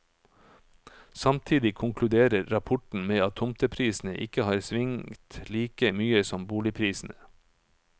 Samtidig konkluderer rapporten med at tomteprisene ikke har svingt like mye som boligprisene.